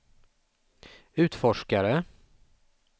utforskare